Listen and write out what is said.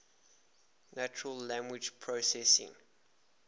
natural language processing